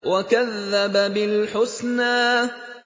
وَكَذَّبَ بِالْحُسْنَىٰ